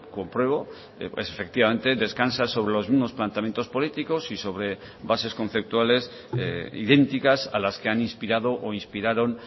compruebo efectivamente descansa sobre los mismos planteamientos políticos y sobre bases conceptuales idénticas a las que han inspirado o inspiraron